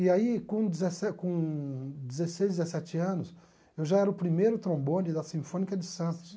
E aí, com dezesse com dezesseis, dezessete anos, eu já era o primeiro trombone da Sinfônica de Santos.